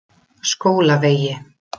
Skólavegi